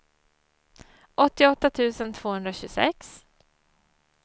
åttioåtta tusen tvåhundratjugosex